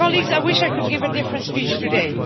I wish I could give a different speech today.